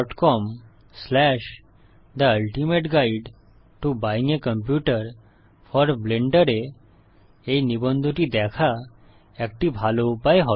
com the ultimate guide to buying a computer for Blender এ এই নিবন্ধটি দেখা একটি ভালো উপায় হবে